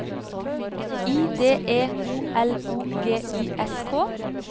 I D E O L O G I S K